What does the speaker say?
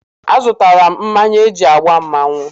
Azụtala m mmanya eji agba mmanwụ.